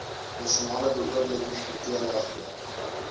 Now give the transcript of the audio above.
nasionale beoordelingskriteria gebruik